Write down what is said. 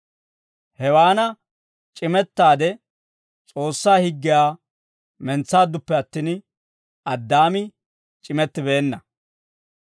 Hewaana c'imettaade S'oossaa higgiyaa mentsaadduppe attin, Addaami c'imettibeenna.